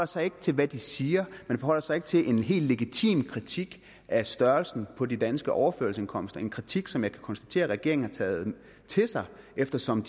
sig ikke til hvad de siger man forholder sig ikke til en helt legitim kritik af størrelsen på de danske overførselsindkomster en kritik som jeg kan konstatere at regeringen har taget til sig eftersom